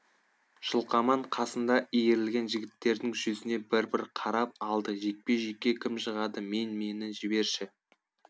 жылқаман қасында иірілген жігіттердің жүзіне бір бір қарап алды жекпе жекке кім шығады мен мені жіберші